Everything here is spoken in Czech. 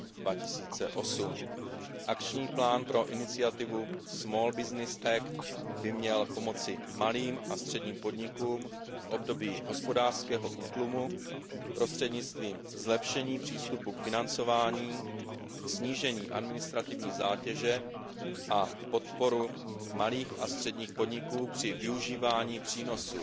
2008. Akční plán pro iniciativu Small Business Act by měl pomoci malým a středním podnikům v období hospodářského útlumu prostřednictvím zlepšení přístupu k financování, snížení administrativní zátěže a podpory malých a středních podniků při využívání přínosu